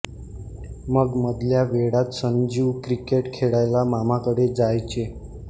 मग मधल्या वेळात संजीव क्रिकेट खेळायला मामाकडे जायचे